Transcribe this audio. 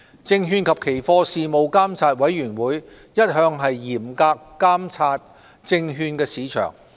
證券及期貨事務監察委員會一向嚴格監察證券市場。